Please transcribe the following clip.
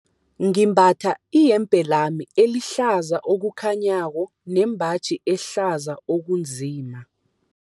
Ngimbatha iyembe lami elihlaza okukhanyako nembaji ehlaza okunzima.